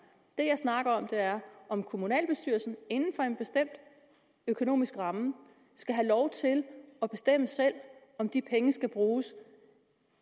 det jeg snakker om er om kommunalbestyrelsen inden for en bestemt økonomisk ramme skal have lov til at bestemme selv om de penge skal bruges